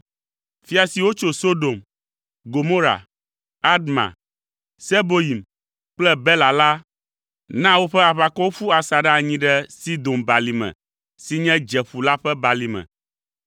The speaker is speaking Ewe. Fia siwo tso Sodom, Gomora, Adma, Seboyim kple Bela la na woƒe aʋakɔwo ƒu asaɖa anyi ɖe Sidom balime si nye (Dzeƒu la ƒe balime.)